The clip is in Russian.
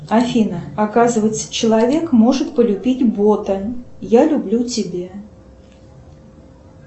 афина оказывается человек может полюбить бота я люблю тебя